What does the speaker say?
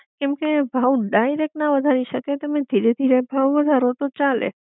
કેમકે ભાવ ડાઇરેક્ટ ના વધારી શકાય તમે ધીરે ધીરે ભાવ વધારો તો ચાલે